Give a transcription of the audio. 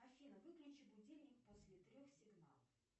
афина выключи будильник после трех сигналов